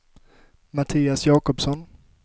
Mattias Jakobsson